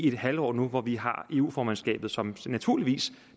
et halvår nu hvor vi har eu formandskabet som naturligvis